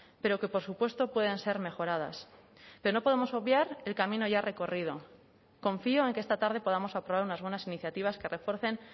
pero que por supuesto puedan ser mejoradas pero no podemos obviar el camino ya recorrido confío en que esta tarde podamos aprobar unas buenas iniciativas que refuercen